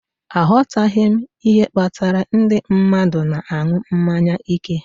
Aghọtaghị m ihe kpatara ndị mmadụ na-aṅụ mmanya ike